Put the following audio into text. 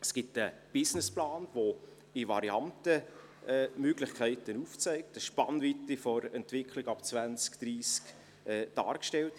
Es gibt einen Businessplan, der in Varianten Möglichkeiten aufzeigt, die eine Spannweite der Entwicklung ab 2030 darstellen.